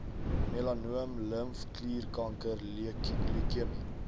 melanoom limfklierkanker leukemie